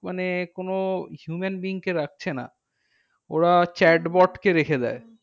মানে কোনো human being কে রাখছে না। ওরা chat bot কে রেখে দেয়।